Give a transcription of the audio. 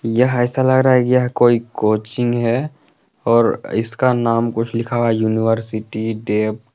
यह ऐसा लग रहा है कि यह कोई कोचिंग है और इसका नाम कुछ लिखा हुआ है यूनिवर्सिटी डेप।